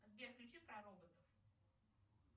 сбер включи про роботов